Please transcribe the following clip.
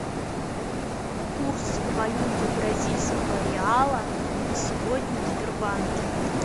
курс валюты бразильского реала на сегодня в сбербанке